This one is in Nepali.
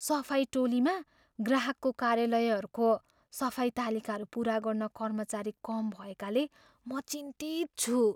सफाइ टोलीमा ग्राहकको कार्यालयहरूको सफाई तालिकाहरू पुरा गर्न कर्मचारी कम भएकाले म चिन्तित छु।